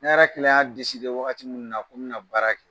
Ne yɛrɛ kelen y'a waati min na ko n bɛna na baara kɛ